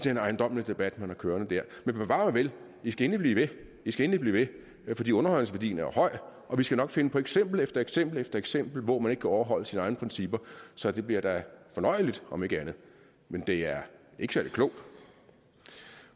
en ejendommelig debat man har kørende men bevar mig vel i skal endelig skal endelig blive ved fordi underholdningsværdien er høj og vi skal nok finde på eksempel efter eksempel efter eksempel hvor man ikke kan overholde sine egne principper så det bliver da fornøjeligt om ikke andet men det er ikke særlig klogt